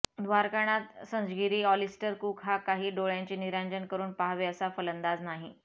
Dwarkanath Sanzgiri Alastair Cook हा काही डोळय़ांचे निरांजन करून पाहावे असा फलंदाज नाही